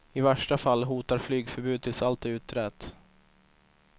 I värsta fall hotar flygförbud tills allt är utrett.